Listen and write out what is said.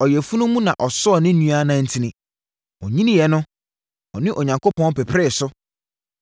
Ɔyafunu mu na ɔsɔɔ ne nua nantin; ɔnyiniiɛ no, ɔne Onyankopɔn pepree so.